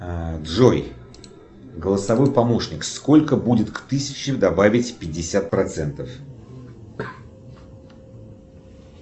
а джой голосовой помощник сколько будет к тысячи добавить пятьдесят процентов